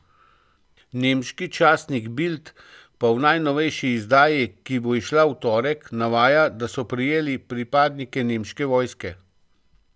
Nemški časnik Bild pa v najnovejši izdaji, ki bo izšla v torek, navaja, da so prijeti pripadniki nemške vojske.